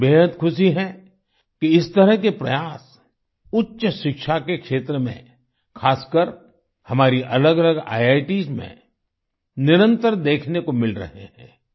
मुझे बेहद खुशी है कि इस तरह के प्रयास उच्च शिक्षा के क्षेत्र में खासकर हमारी अलगअलग आईआईटीएस में निरंतर देखने को मिल रहे हैं